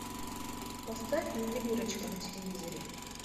поставь ювелирочка на телевизоре